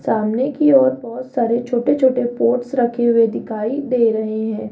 सामने की और बहोत सारे छोटे छोटे पोट्स रखे हुए दिखाई दे रहे हैं।